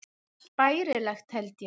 Allt bærilegt, held ég.